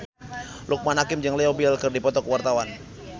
Loekman Hakim jeung Leo Bill keur dipoto ku wartawan